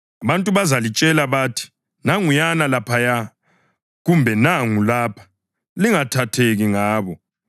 Abantu bazalitshela bathi, ‘Nanguyana laphaya!’ kumbe, ‘Nangu lapha!’ Lingathatheki ngabo.